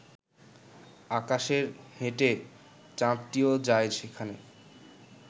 আকাশের হেঁটে চাঁদটিও যায় সেখানে